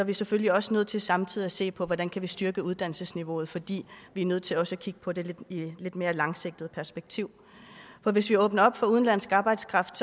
vi selvfølgelig også nødt til samtidig at se på hvordan vi kan styrke uddannelsesniveauet fordi vi er nødt til også at kigge på det i et lidt mere langsigtet perspektiv for hvis vi åbner op for udenlandsk arbejdskraft